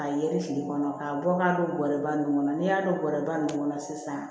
A yɛrɛ fili kɔnɔ k'a bɔ k'a don kɔriba ninnu kɔnɔ n'i y'a don bɔrɛba ninnu kɔnɔ sisan